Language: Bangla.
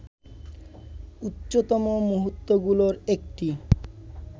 উচ্চতম মুহুর্তগুলোর একটি